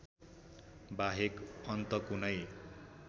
बाहेक अन्त कुनै